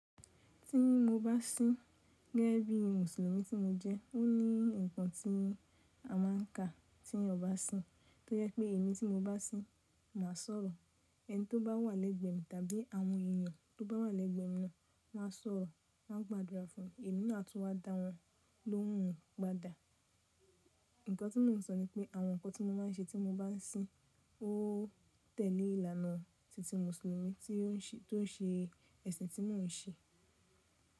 Tí mo bá sín, gẹ́gẹ́ bí Mùsùlùmí tí mo jẹ́, ó ní nǹkan tí a má a ń kà tí ẹeyan bá sín, tó jẹ pé èmi tí mo bá sín, mà sọ̀rọ̀. Ẹni tí ó bá wà lẹ́gbẹ̀ẹ́ mi tàbí àwọn ènìyàn tó bá wà lẹ́gbẹ̀ẹ́ minna, wọn á sọ̀rọ̀, won a gbàdúrà fúnmi, èmi náà tún wá dá wọn lóhùn gbada. Ǹkan tí mò ń sọ ni pé àwọn ǹkan tí mo máa ń ṣe tí mo bá sín ó tẹ̀lé ìlànà tìtì Mùsùlùmí tó ṣe ẹ̀sìn tí mò ń ṣe.